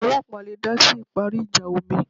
Àwọn ọlọ́ọ̀pá le dásí ìparí ìjà omi